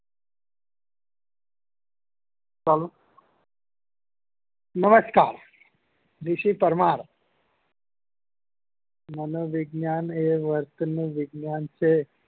નમસ્કાર વીશી પરમાર માનો વિજ્ઞાન એ વર્ત નું વિજ્ઞાન છે